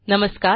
नमस्कार